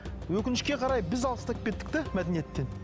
өкінішке қарай біз алыстап кеттік те мәдениеттен